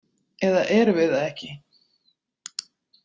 Eða erum við það ekki?